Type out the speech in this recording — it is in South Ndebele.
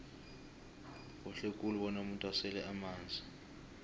kuhle khulu bona umuntu asele amanzi